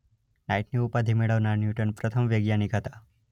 નાઇટની ઉપાધી મેળવનાર ન્યૂટન પ્રથમ વૈજ્ઞાનિક હતા.